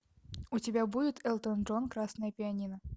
у тебя будет элтон джон красное пианино